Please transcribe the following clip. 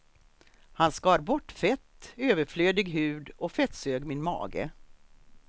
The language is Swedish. Han skar bort fett, överflödig hud och fettsög min mage.